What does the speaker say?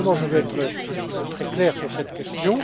Naturellement, je veux être très clair sur cette question.